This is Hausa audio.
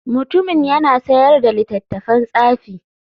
Mutumin yana sayar da littattafan tsafi.